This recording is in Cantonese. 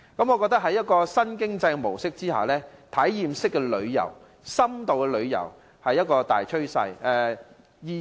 我認為在新經濟模式之下，體驗式旅遊和深度旅遊是大趨勢。